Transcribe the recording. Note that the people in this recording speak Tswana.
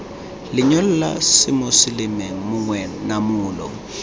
lenyalo la semoseleme gongwe namolo